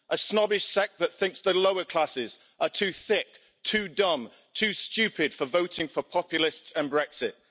A snobbish sect that thinks the lower classes are too thick, too dumb, too stupid, for voting for populists and Brexit.